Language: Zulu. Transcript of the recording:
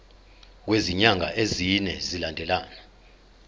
kwezinyanga ezine zilandelana